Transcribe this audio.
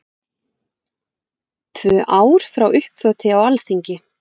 Tvö ár frá uppþoti á Alþingi